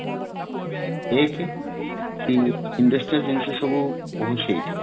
ଏକ କି industrial ଜିନିଷ ସବୁ ହୋଉଛି ଏଠି